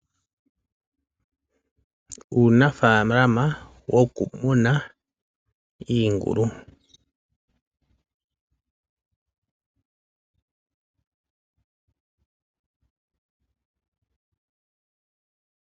Uunafalama woku muna iingulu.